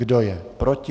Kdo je proti?